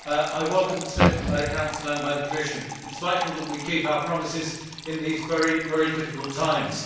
Mr President, I welcome the statement by the Council and by the Commission. It is vital that we keep our promises in these very, very difficult times.